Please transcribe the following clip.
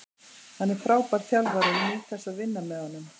Hann er frábær þjálfari og ég nýt þess að vinna með honum.